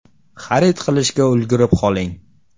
Xarid qilishga ulgurib qoling!